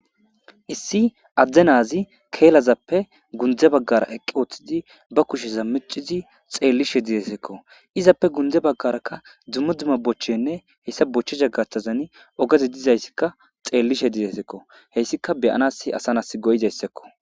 Issi adde naazi keelazappe gunde baggara eqqi ooththidi ba kushe zammicizi xeellishe dizesekko izappe gunde baggarakka dzumma dzumma bochchenne heyssa bochche jagatazan ogazi dizayssikka xeellishe didesekko heyssika beyanas asanas goyizayssekko